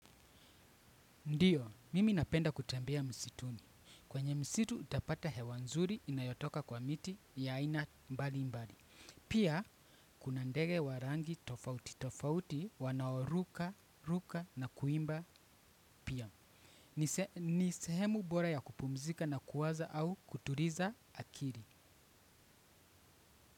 Ndiyo, mimi napenda kutembea msituni. Kwenye msitu utapata hewa nzuri inayotoka kwa miti ya aina mbali mbali. Pia, kuna ndege wa rangi tofauti tofauti wanaoruka, ruka na kuimba pia. Ni sehemu bora ya kupumzika na kuwaza au kutuliza akili.